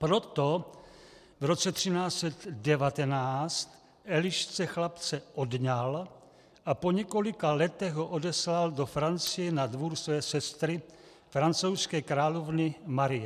Proto v roce 1319 Elišce chlapce odňal a po několika letech ho odeslal do Francie na dvůr své sestry, francouzské královny Marie.